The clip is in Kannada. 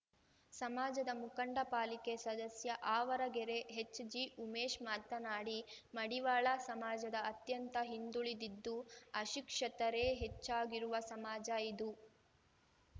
ಸಮಾಜದ ಮುಖಂಡ ಪಾಲಿಕೆ ಸದಸ್ಯ ಆವರಗೆರೆ ಹೆಚ್‌ಜಿಉಮೇಶ ಮಾತನಾಡಿ ಮಡಿವಾಳ ಸಮಾಜದ ಅತ್ಯಂತ ಹಿಂದುಳಿದಿದ್ದು ಅಶಿಕ್ಷತರೇ ಹೆಚ್ಚಾಗಿರುವ ಸಮಾಜ ಇದು